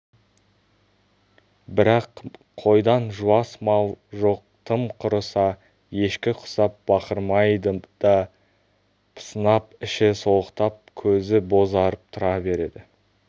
бірақ қойдан жуас мал жоқ тым құрыса ешкі құсап бақырмайды да пысынап іші солықтап көзі бозарып тұра береді